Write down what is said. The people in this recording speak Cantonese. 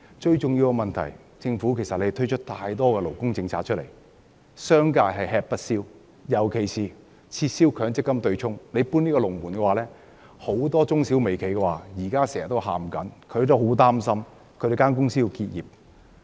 最重要的問題是，政府推出了太多勞工政策，令商界吃不消，尤其是撤銷強積金對沖，政府"搬龍門"令到很多中小微企均叫苦連天，擔心會結業。